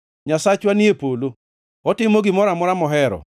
Nyasachwa ni e polo; otimo gimoro amora mohero.